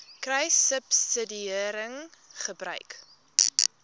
kruissubsidiëringgebruik